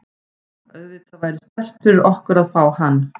Auðvitað væri sterkt fyrir okkur að fá hann.